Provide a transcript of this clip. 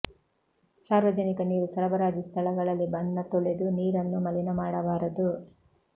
ಸಾರ್ವಜನಿಕ ನೀರು ಸರಬರಾಜು ಸ್ಥಳಗಳಲ್ಲಿ ಬಣ್ಣ ತೊಳೆದು ನೀರನ್ನು ಮಲಿನ ಮಾಡಬಾರದು